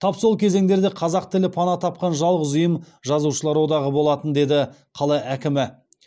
тап сол кезеңдерде қазақ тілі пана тапқан жалғыз ұйым жазушылар одағы болатын деді қала әкімі